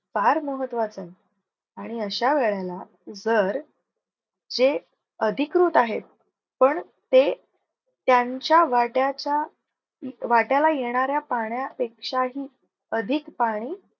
फार महत्वाचंय आणि अश्या वेळेला जर, हे अधिकृत आहे पण ते त्यांच्या वाट्याचा वाट्याला येणाऱ्या पाण्यापेक्षा ही अधिक पाणी